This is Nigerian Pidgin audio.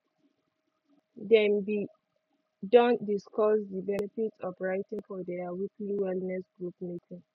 dem be don discuss di benefit of writing for their weekly wellness group meeting